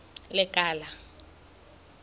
lekala